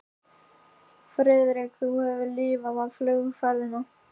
Friðrik, þú hefur lifað af flugferðina